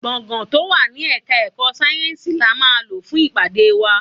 Gbọ̀ngán tó wà ní Ẹ̀ka-ẹ̀kọ́ sayensi la máa lò fún ìpàdé wa.